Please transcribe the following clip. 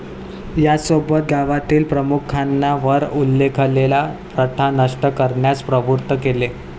याचसोबत गावातील प्रमुखांना वर उल्लेखलेल्या प्रथा नष्ट करण्यास प्रवृत्त केले.